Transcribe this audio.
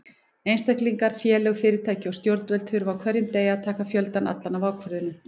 Einstaklingar, félög, fyrirtæki og stjórnvöld þurfa á hverjum degi að taka fjöldann allan af ákvörðunum.